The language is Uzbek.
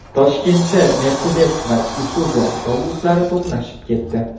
Toshkentda Mercedes va Isuzu avtobuslari to‘qnashib ketdi.